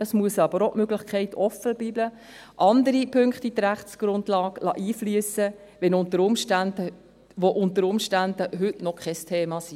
Es muss aber auch die Möglichkeit offenbleiben, andere Punkte in die Rechtsgrundlage einfliessen zu lassen, die unter Umständen heute noch kein Thema sind.